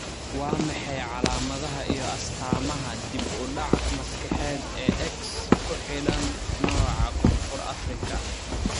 Waa maxay calaamadaha iyo astaamaha dib u dhac maskaxeed ee X ku xidhan, nooca Koonfur Afrika?